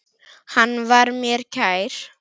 Hann var mér kær.